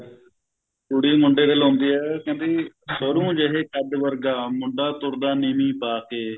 ਕੁੜੀ ਮੁੰਡੇ ਦੇ ਲਾਉਂਦੀ ਆ ਕਹਿੰਦੀ ਸਰੋਂ ਜਹੇ ਕੱਦ ਵਰਗਾ ਮੁੰਡਾ ਤੁਰਦਾ ਨੀਵੀਂ ਪਾ ਕੇ